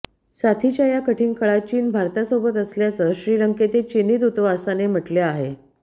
साथीच्या या कठीण काळात चीन भारतासोबत असल्याचं श्रीलंकेतील चिनी दूतावासाने म्हटलं आहे